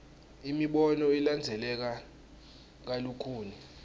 imibono ilandzeleka kalukhuni